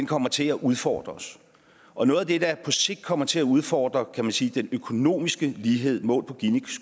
kommer til at udfordre os og noget af det der på sigt kommer til at udfordre kan man sige den økonomiske lighed målt på